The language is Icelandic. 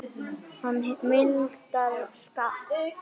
Hann mildar skap mitt.